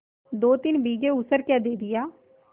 दोतीन बीघे ऊसर क्या दे दिया